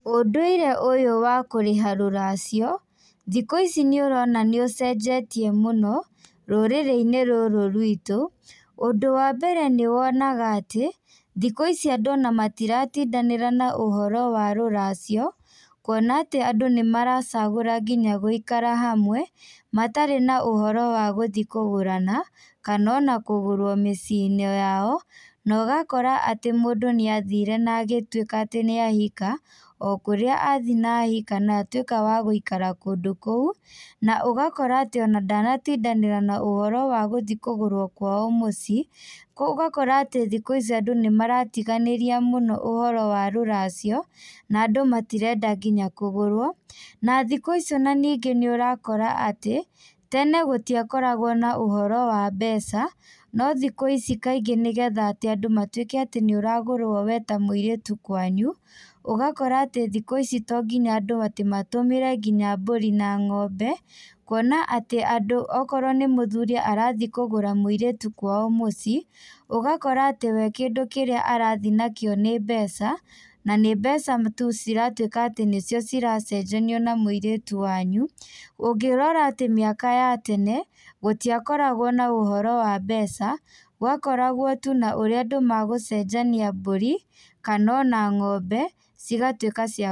Ũndũire ũyũ wa kũrĩha rũracio, thikũ ici nĩũrona nĩ ũcenjetie mũno, rũrĩrĩinĩ rũrũ rwitũ, ũndũ wa mbere nĩwonaga atĩ, thikũ ici andũ ona matiratindanĩra na ũhoro wa rũracio, kuona atĩ andũ nĩmaracagũra nginya gũikara hamwe, matarĩ na ũhoro wa gũthiĩ kũgũrana, kana ona kũgũrwo mĩciĩnĩ o yao, na ũgakora atĩ mũndũ nĩathire na agĩtuĩka atĩ nĩahika, o kũrĩa athiĩ na ahika na atuĩka wa gũikara kũndũ kũu, na ũgakora atĩ ona ndanatindanĩra na ũhoro wa gũthiĩ kũgũrwo kwao mũciĩ, ũgakora atĩ thikũ ici andũ nĩmaratiganĩria mũno ũhoro wa rũracio, na andũ matirenda nginya kũgũrwo, na thikũ ici ona ningĩ nĩũrakora atĩ, tene gũtiakoragwo na ũhoro wa mbeca, no thikũ cic kaingĩ nĩgetha atĩ andũ matuĩke atĩ nĩũragũrwo we ta mũirĩtu kwanyu, ũgakora atĩ thikũ ici to nginya andũ atĩ matũmĩre nginya mbũri na ng'ombe, kuona atĩ andũ okorwo nĩ mũthuri arathiĩ kũgũra mũirĩtu kwao mũciĩ, ũgakora atĩ we kĩndũ kĩrĩa arathiĩ nakĩo nĩ mbeca, na nĩ mbeca tu ciratuĩka atĩ nĩcio ciracenjanio na mũirĩtũ wanyu, ũngĩrora atĩ mĩaka ya tene, gũtiakoragwo na ũhoro wa mbeca, gwakoragwo tu na ũrĩa andũ magũcenjania mbũri, kana ona ng'ombe, cigatuĩka cia.